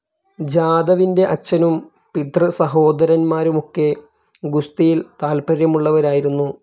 ജാദവിന്റെ അച്ഛനും പിതൃസഹോദരൻമാരുമൊക്കെ ഗുസ്തിയിൽ താത്പര്യമുള്ളവരായിരുന്നു.